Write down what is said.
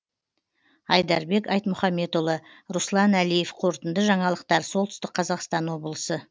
айдарбек айтмұхамбетұлы руслан әлиев қорытынды жаңалықтар солтүстік қазақстан облысы